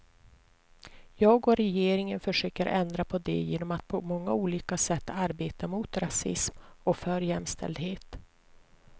Jag och regeringen försöker ändra på det genom att på många olika sätt arbeta mot rasism och för jämställdhet.